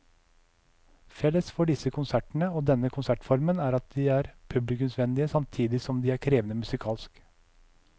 Felles for disse konsertene og denne konsertformen er at de er publikumsvennlige samtidig som de er krevende musikalsk.